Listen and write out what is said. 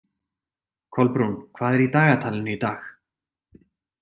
Kolbrún, hvað er í dagatalinu í dag?